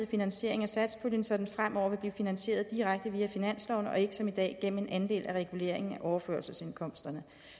finansiering af satspuljen så den fremover vil blive finansieret direkte via finansloven og ikke som i dag gennem en andel af reguleringen af overførselsindkomsterne